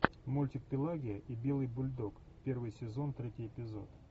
мультик пелагия и белый бульдог первый сезон третий эпизод